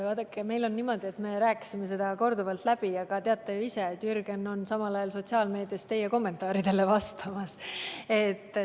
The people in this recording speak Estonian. Vaadake, meil oli niimoodi, et me rääkisime selle teema korduvalt läbi, aga te teate ju ise, et Jürgen oli samal ajal sotsiaalmeedias teie kommentaaridele vastamas.